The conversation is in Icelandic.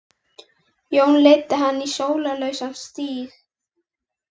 Annar þeirra var með ljósjarpan hest með rot í taglinu.